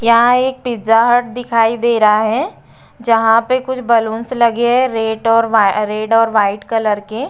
यहां एक Pizza Hut दिखाई दे रहा है जहां पे कुछ बलूंस लगे हैं रेड और व्हाइ रेड और व्हाइट कलर के।